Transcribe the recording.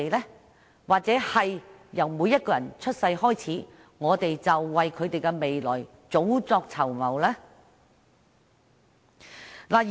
又或是，在每個人一出生後，便為他們的未來及早籌謀呢？